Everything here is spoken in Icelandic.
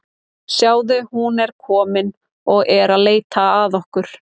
Sjáðu, hún er komin og er að leita að okkur.